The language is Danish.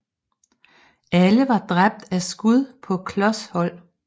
Alle var dræbt af skud på klos hold